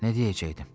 Nə deyəcəkdim?